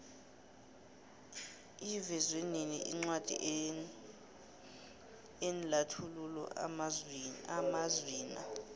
ivezwenini incwadi enlathulula amazwina